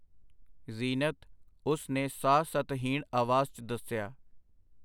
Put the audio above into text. ਜ਼ੀਨਤ, ਉਸ ਨੇ ਸਾਹ ਸਤਹੀਣ ਆਵਾਜ਼ 'ਚ ਦੱਸਿਆ.